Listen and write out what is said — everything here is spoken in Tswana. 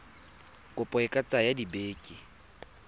kopo e ka tsaya dibeke